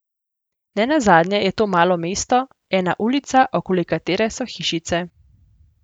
Ne nazadnje je to malo mesto, ena ulica, okoli katere so hišice.